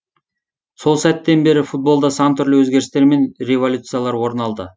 сол сәттен бері футболда сан түрлі өзгерістер мен революциялар орын алды